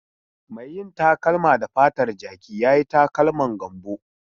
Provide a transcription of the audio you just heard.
Mai yin takalma da fatar jaki ya yi takalman Gambo.